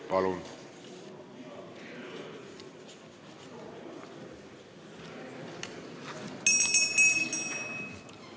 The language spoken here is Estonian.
Palun!